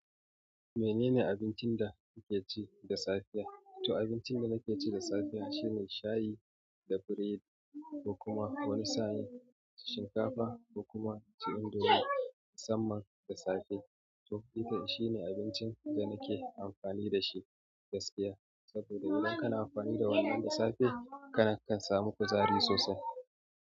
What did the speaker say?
Menene abincin da kike ci da safiya? To abincin da nake ci da safiya shine shayi da biredi, ko kuma wani sa'in shinkafa, ko kuma inci indomie, musamman da safe. To ita shine abincin da nake amfani da shi gaskiya. To idan kana amfani da wannan da safe kana iya samun kuzari sosai.